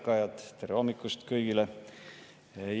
Ärkajad, tere hommikust kõigile!